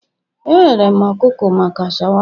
Ehere m ọkụkọ maka shawama